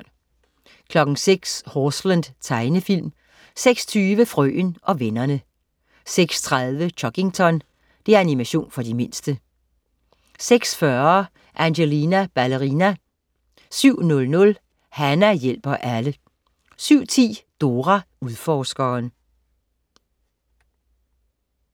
06.00 Horseland. Tegnefilm 06.20 Frøen og vennerne 06.30 Chuggington. Animation for de mindste 06.40 Angelina Ballerina 07.00 Hana hjælper alle 07.10 Dora Udforskeren